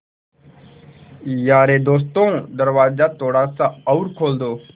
यारे दोस्तों दरवाज़ा थोड़ा सा और खोल दो